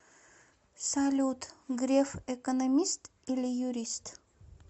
салют греф экономист или юрист